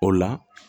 O la